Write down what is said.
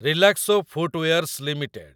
Relaxo footwears limited